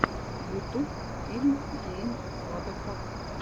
ютуб фильм гейм вадафак